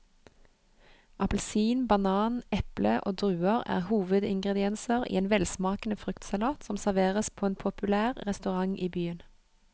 Appelsin, banan, eple og druer er hovedingredienser i en velsmakende fruktsalat som serveres på en populær restaurant i byen.